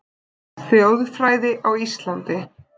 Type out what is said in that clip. Þjóðfræði á Íslandi